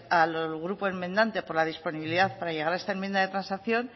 al grupo enmendante por la disponibilidad para llegar a esta enmienda de transacción